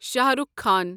Shah Rukh Khan